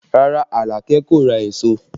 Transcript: Rárá, Alake kò ra èso